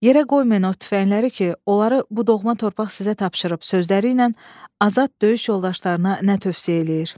Yerə qoymayın o tüfəngləri ki, onları bu doğma torpaq sizə tapşırıb sözləri ilə Azad döyüş yoldaşlarına nə tövsiyə eləyir?